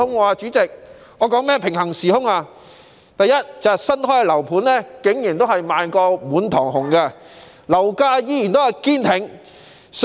我所說的平行時空，是第一，新樓盤仍然賣得滿堂紅，樓價仍然堅挺。